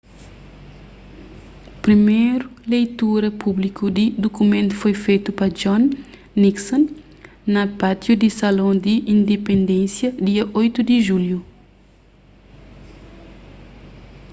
priméru leitura públiku di dukumentu foi fetu pa john nixon na pátiu di salão di indipendênsia dia 8 di julhu